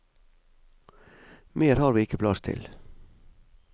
Mer har vi ikke plass til.